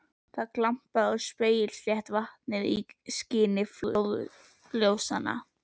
Það glampaði á spegilslétt vatnið í skini flóðljósanna.